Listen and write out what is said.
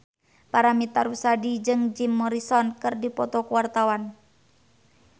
Paramitha Rusady jeung Jim Morrison keur dipoto ku wartawan